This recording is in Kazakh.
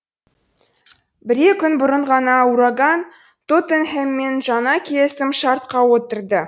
бірре күн бұрын ғана ураган тоттенхэммен жаңа келісім шартқа отырды